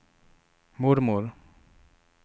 mormor